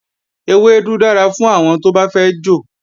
Ewédú dára fún àwọn tó bá fẹ́ jò